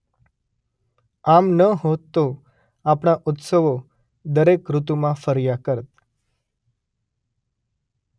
આમ ન હોત તો આપણા ઉત્સવો દરેક ઋતુમાં ફર્યા કરત.